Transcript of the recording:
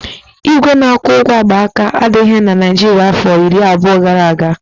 Igwe na-akwụ ụgwọ akpaaka adịghị na Naịjirịa afọ iri abụọ gara aga